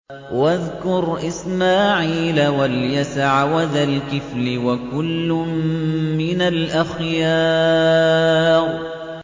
وَاذْكُرْ إِسْمَاعِيلَ وَالْيَسَعَ وَذَا الْكِفْلِ ۖ وَكُلٌّ مِّنَ الْأَخْيَارِ